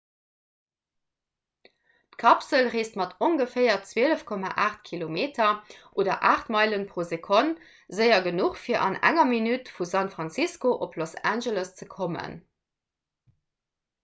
d'kapsel reesst mat ongeféier 12,8 km oder 8 meilen pro sekonn séier genuch fir an enger minutt vu san francisco op los angeles ze kommen